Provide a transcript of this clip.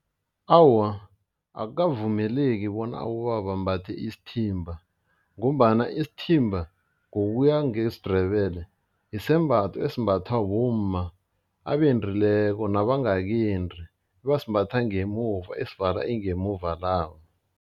Awa, akukavumeleki bona abobaba bambathe isithimba ngombana isithimba ngokuya ngesiNdebele, sisembatho esimbathwa bomma abendileko nabangakendi abasimbatha ngemuva esivala ingemuva labo.